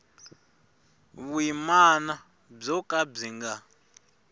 vuyimana byo ka byi nga